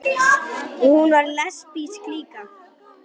Og svo var hún lesbísk líka.